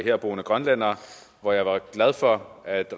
herboende grønlændere og jeg var glad for at